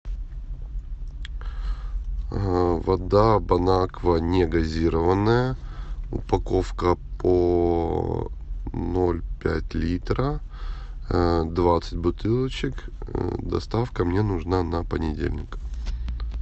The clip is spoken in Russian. вода бонаква негазированная упаковка по ноль пять литра двадцать бутылочек доставка мне нужна на понедельник